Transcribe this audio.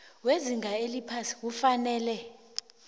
wezinga eliphasi kufanele